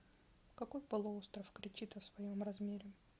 какой полуостров кричит о своем размере